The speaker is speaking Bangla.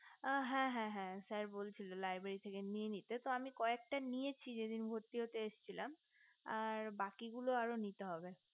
ও হ্যা হ্যা হ্যা sir বলছিলেন library থেকে নিয়ে নিতে তো আমি কয়েকটা নিয়েছি যে দিন ভর্তি হতে আসছিলাম আর বাকি গুলো আরো নিতে হবে